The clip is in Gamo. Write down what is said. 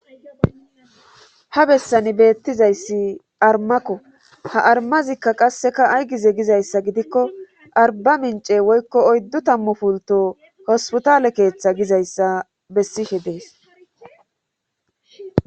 ha bessani beettizayssi armakko ha armazikka qasseka aygize gizayssa gidikko arba mince woykko oyddu tammu pulto hosputale keeththa gizayssa bessihe de7es